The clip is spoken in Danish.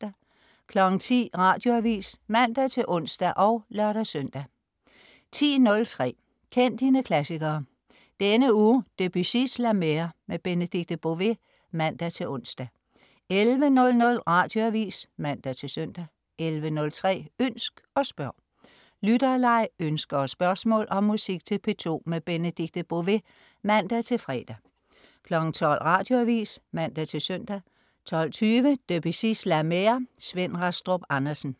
10.00 Radioavis (man-ons og lør-søn) 10.03 Kend dine klassikere. Denne uge Debussys La Mer. Benedikte Bové (man-ons) 11.00 Radioavis (man-søn) 11.03 Ønsk og spørg. Lytterleg, ønsker og spørgsmål om musik til P2. Benedikte Bové (man-fre) 12.00 Radioavis (man-søn) 12.20 Debussys La Mer. Svend Rastrup Andersen